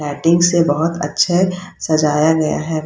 Lighting से बोहोत अच्छे सजाया गया है।